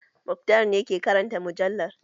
Muktar na ke karanta mujallar